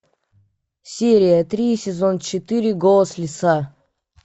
серия три сезон четыре голос лиса